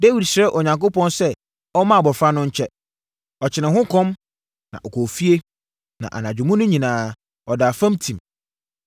Dawid srɛɛ Onyankopɔn sɛ ɔmma abɔfra no nkye. Ɔkyenee ho kɔm, na ɔkɔɔ fie, na anadwo mu no nyinaa, ɔdaa fam tim.